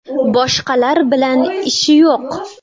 Boshqalar bilan ishi yo‘q.